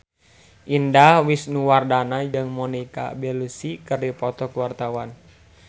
Indah Wisnuwardana jeung Monica Belluci keur dipoto ku wartawan